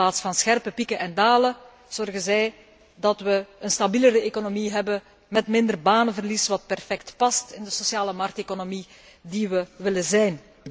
In plaats van scherpe pieken en dalen zorgen zij dat wij een stabielere economie hebben met minder banenverlies, hetgeen perfect past in de sociale markteconomie die wij willen zijn.